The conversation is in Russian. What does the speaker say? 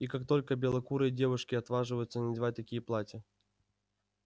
и как только белокурые девушки отваживаются надевать такие платья